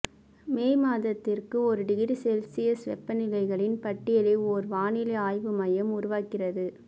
மே மாதத்திற்கு ஒரு degree Celsius வெப்பநிலைகளின் பட்டியலை ஒரு வானிலை ஆய்வு மையம் உருவாக்குகிறது